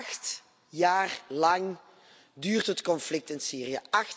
Acht jaar lang duurt het conflict in Syrië.